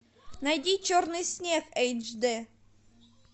найди черный снег эйч дэ